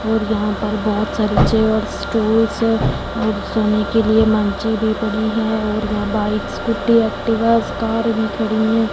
और यहां पर बहोत सारे चेयर्स स्टूल्स और सोने के लिए मंचे भी बनी है और यहां बाइक स्कूटी एक्टिवा कार भी खड़ी हैं।